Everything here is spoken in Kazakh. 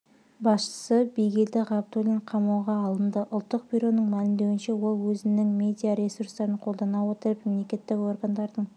басшысы бигелді ғабдуллин қамауға алынды ұлттық бюроның мәлімдеуінше ол өзінің медиаресурстарын қолдана отырып мемлекеттік органдардың